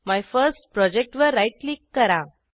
MyFirstProjectवर right click करा